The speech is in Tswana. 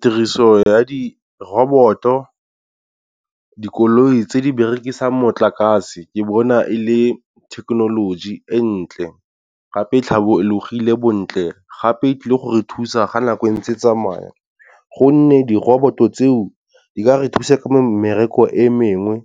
Tiriso ya di robot-o dikoloi tse di berekisang motlakase ke bona e le thekenoloji e ntle gape tlhabologile bontle. Gape e tlile gore thusa ga nako e ntse e tsamaya gonne di-robot-o tseo di ka re thuse ka mmereko e mengwe,